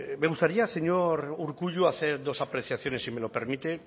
me gustaría señor urkullu hacer dos apreciaciones si me lo permite